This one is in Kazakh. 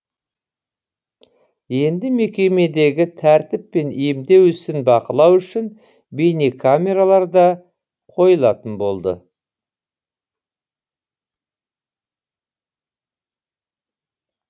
енді мекемедегі тәртіп пен емдеу ісін бақылау үшін бейнекамералар да қойылатын болды